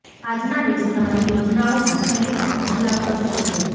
આજ ના દિવસે તમારી યોજનાઓ માં છેલ્લી પળ માં બદલાવ થઇ શકે છે